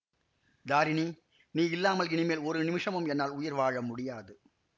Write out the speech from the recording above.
தாரிணி நீ இல்லாமல் இனிமேல் ஒரு நிமிஷமும் என்னால் உயிர் வாழ முடியாது